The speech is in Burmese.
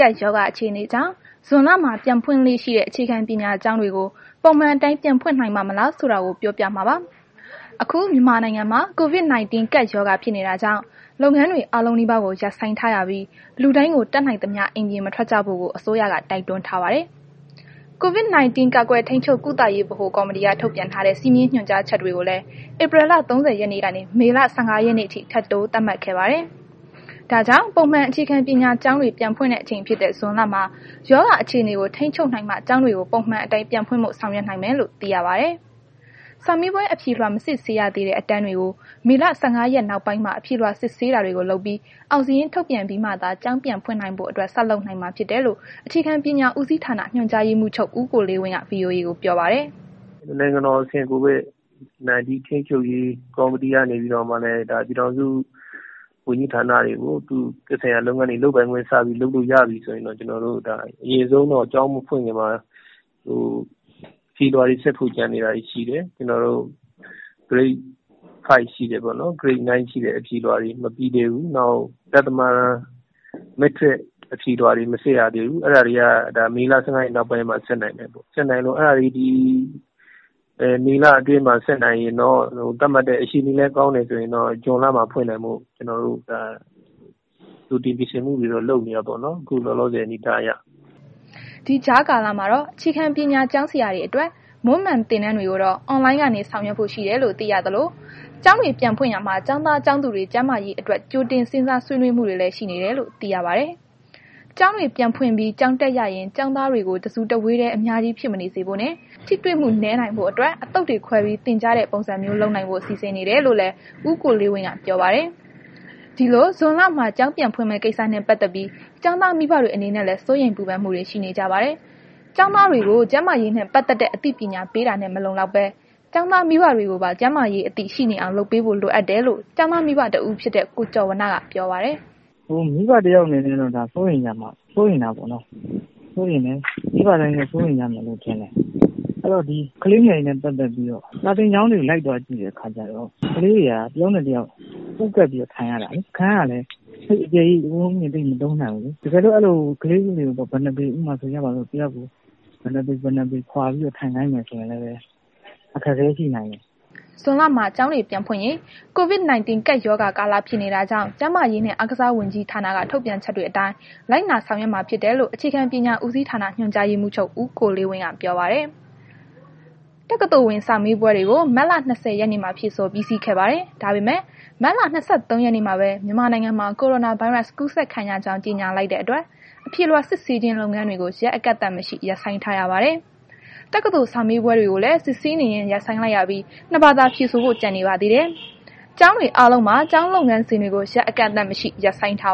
ကပ်ရောဂါအခြေအနေကြောင့် ဇွန်လမှာ ပြန်ဖွင့်လေ့ရှိတဲ့ အခြေခံပညာကျောင်းတွေကို ပုံမှန်အတိုင်း ပြန်ဖွင့်နိုင်ပါ့မလားဆိုတာ စုံစမ်းပြောပြမှာပါ။ ဒီအကြောင်း ဗွီအိုအေမြန်မာပိုင်းသတင်းထောက် မအိမ့်သန္တာထွန်းက တင်ပြပေးပါမယ်။ အခု မြန်မာနိုင်ငံမှာ COVID-19 ကပ်ရောဂါဖြစ်နေတာကြောင့် လုပ်ငန်းတွေ အားလုံးနီးပါးကို ရပ်ဆိုင်းထားရပြီး လူတိုင်းကို တတ်နိုင်သမျှ အိမ်ပြင်မထွက်ကြဖို့ကို အစိုးရက တိုက်တွန်းထားပါတယ်။ COVID-19 ကာကွယ်ထိန်းချုပ်ကုသရေး ဗဟိုကော်မတီက ထုတ်ပြန်ထားတဲ့ စည်းမျဉ်းညွှန်ကြားချက်တွေကိုလည်း ဧပြီလ ၃၀ ရက်နေ့ကနေ မေလ ၁၅ ရက်နေ့အထိ ထပ်တိုးသတ်မှတ်ခဲ့ပါတယ်။ ဒါကြောင့် ပုံမှန် အခြေခံပညာကျောင်းတွေ ပြန်ဖွင့်တဲ့ အချိန်ဖြစ်တဲ့ဇွန်လမှာ ရောဂါအခြေအနေကို ထိန်းချုပ်နိုင်မှ ကျောင်းတွေ ပုံမှန်အတိုင်း ပြန်ဖွင့်ဖို့ ဆောင်ရွက်နိုင်မယ်လို့သိရပါတယ်။ စာမေးပွဲ အဖြေလွှာ မစစ်ဆေးရသေးတဲ့ အတန်းတွေကို မေလ ၁၅ ရက်နောက်ပိုင်းမှာ အဖြေလွှာစစ်ဆေးတာတွေကို လုပ်ပြီး အောင်စာရင်း ထုတ်ပြန်ပြီးမှာသာ ကျောင်းပြန်ဖွင့်နိုင်ဖို့အတွက် ဆက်လုပ်နိုင်မှာဖြစ်တယ်လို့ အခြေခံပညာဦးစီးဌာန ညွှန်ကြားရေးမှူးချုပ် ဦးကိုလေးဝင်းက ဗွီအိုအေကို ပြောပါတယ်။ “နိုင်ငံတော်အဆင့် COVID-19 ထိန်းချုပ်ရေး ကော်မတီက နေပြီးတော့မှလည်း ဒါ ပြည်ထောင်စု ဝန်ကြီးဌာနတွေကို သက်ဆိုင်ရာလုပ်ငန်းတွေ လုပ်ပိုင်ခွင့်စပြီး လုပ်လို့ရပြီ ဆိုရင်တော့ ကျနော်တို့ အရင်ဆုံးတော့ ကျောင်မဖွင့်ခင်မှာ အဖြေလွှာတွေစစ်ဖို့ကျန်နေတာတွေ ရှိတယ်။ ကျနော်တို့ Grade 5 ရှိတယ်ပေါ့နော် ပြီးတော့ Grade 9 ရှိတယ်။ အဖြေလွှာတွေ မပြီးသေးဘူး။ နောက် ဒဿမတန်း အဖြေလွှာတွေ မစစ်ရသေးဘူး။ အဲ့ဒါတွေက မေလ ၁၅ ရက်နောက်ပိုင်းမှ စစ်နိုင်မယ်။ အဲ့ဒါတွေကို ဒီလ အတွင်းမှာ စစ်နိုင်ရင်တော့ အခြေအနေလည်း ကောင်းတယ်ဆိုရင်တော့ ဇွန်လမှာ ဖွင့်နိုင်ဖို့ ကျနော်တို့ဒါ ကြိုတင်ပြင်ဆင်မှုတွေတော့ လုပ်နေတာပေါ့နော်... ခုလောလောဆယ် အနေအထားအရ။” ဒီကြားကာလမှာတော့ အခြေခံပညာ ကျောင်းဆရာတွေအတွက် မွန်းမံ့သင်တန်းတွေကိုတော့ အွန်လိုင်းကနေ ဆောင်ရွက်ဖို့ ရှိတယ်လို့သိရသလို ကျောင်းတွေပြန်ဖွင့်ရာမှာ ကျောင်းသား ကျောင်းသူတွေ ကျန်းမာရေးအတွက် ကြိုတင်စဉ်းစား ဆွေးနွေးမှုတွေလည်း ရှိနေတယ်လို့သိရပါတယ်။ ကျောင်းတွေ ပြန်ဖွင့်ပြီး ကျောင်းတက်ရရင် ကျောင်းသားတွေကို တစ်စုတစ်ဝေးတည်း အများကြီး ဖြစ်မနေစေဖို့နှင့် ထိတွေ့မှု နည်းနိုင်ဖို့အတွက် အသုတ်တွေ ခွဲပြီး သင်ကြားတဲ့ ပုံစံမျိုးလုပ်နိုင်ဖို့ စီစဉ်နေတယ်လို့လည်း ဦးကိုလေးဝင်းကပြောပါတယ်။ ဒီလို ဇွန်လမှာ ကျောင်းပြန်ဖွင့်မယ့် ကိစ္စနဲ့ ပတ်သက်ပြီး ကျောင်သားမိဘတွေအနေနဲ့လည်း စိုးရိမ်ပူပန်မှုတွေ ရှိနေကြပါတယ်။ ကျောင်းသားတွေကို ကျန်းမာရေးနဲ့ ပတ်သက်တဲ့ အသိပညာပေးတာနဲ့ မလုံလောက်ဘဲ ကျောင်းသားမိဘတွေကိုပါ ကျန်းမာရေးအသိ ရှိနေအောင် လုပ်ပေးဖို့ လိုအပ်တယ်လို့ ကျောင်းသား မိဘ တယောက်ဖြစ်တဲ့ ကိုကျော်ဝဏ္ဏ ပြောပါတယ်။ “မိဘတယောက်အနေနဲ့ကတော့ ဒါစိုးရိမ်တာပေါ့နော်။ မိဘတိုင်းကလည်း စိုးရိမ်ကြမယ်လို့ ထင်တယ်။ ဒီကလေးတွေနဲ့ ပတ်သက်ပြီးတော့ စာသင်ကျောင်းတွေကို လိုက်သွားကြည့်တဲ့အခါကျတော့ ခလေးတွေက တယောက်နဲ့ တယောက် ပူးကပ်ပြီးတော့ ထိုင်ရတာလေ။ ထိုင်တဲ့အခါ ခုံအကျယ်ကြီးကို မသုံးနိုင်ဘူးလေ။ တကယ်လို့ ကလေးတွေကို ဘယ်နှစ်ပေ ဆိုကြပါစို့ ဘယ်နှစ်ပေ ဘယ်နှစ်ပေခွာပြီး ထိုင်ခိုင်းမယ်ဆိုရင်လည်း အခက်အခဲရှိနိုင်တယ်။” ဇွန်လမှာ ကျောင်းတွေ ပြန်ဖွင့်ရင် COVID ကပ်ရောဂါကာလ ဖြစ်နေတာကြောင့် ကျန်းမာရေးနဲ့ အားကစားဝန်ကြီးဌာနက ထုတ်ပြန်ချက်တွေအတိုင်းလိုက်နာ ဆောင်ရွက်မှာဖြစ်တယ်လို့ အခြေခံပညာ ဦးစီးဌာန ညွှန်ကြားရေးမှူးချုပ် ဦးကိုလေးဝင်းက ပြောပါတယ်။ တက္ကသိုလ်ဝင်စာမေးပွဲတွေကို မတ်လ ၂၀ ရက်နေ့မှာ ဖြေဆိုပြီးစီးခဲ့ပါတယ်။ ဒါပေမဲ့ မတ်လ ၂၃ ရက်နေ့မှာပဲ မြန်မာနိုင်ငံမှာ ကိုရိုနာဗိုင်းရပ်စ်ကူးစက်ခံရကြောင်း ကြေညာလိုက်တဲ့အတွက် အဖြေလွှာစစ်ဆေးခြင်း လုပ်ငန်းတွေကို ရက်အကန့်အသတ်မရှိ ရပ်ဆိုင်းထားရပါတယ်။ တက္ကသိုလ်စာမေးပွဲတွေကိုလည်း စစ်ဆေးနေရင်း ရပ်ဆိုင်းလိုက်ရပြီး နှစ်ဘာသာ ဖြေဆိုဖို့ ကျန်နေပါသေးတယ်။ ကျောင်းတွေအားလုံးမှာ ကျောင်းလုပ်ငန်းစဉ်တွေကို ရက်အကန့်အသတ်မရှိ ရပ်ဆိုင်းထား